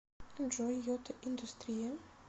джой йота индустрия